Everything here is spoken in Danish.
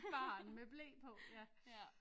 Et barn med ble på ja